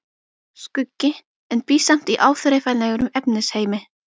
Skuggi, en bý samt í áþreifanlegum efnisheimi.